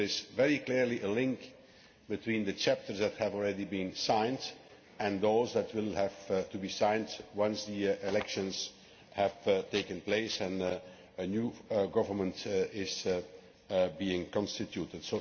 So there is very clearly a link between the chapters that have already been signed and those that will have to be signed once the elections have taken place and a new government is being constituted.